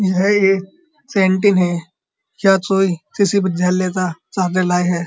यह एक कैंटीन है लाये है।